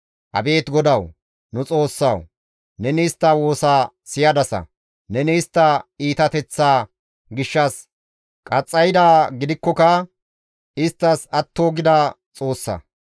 Abeet GODAWU, nu Xoossawu! neni istta woosa siyadasa; neni istta iitateththaa gishshas qaxxaydaa gidikkoka isttas atto gida Xoossa.